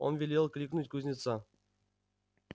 он велел кликнуть кузнеца